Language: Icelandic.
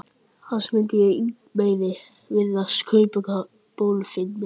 Annars mundi Ingimari virðast kaupakonan bólfimleg.